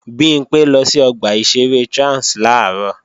Bimpé lọ sí ọgbà ìṣeré Trans làárọ̀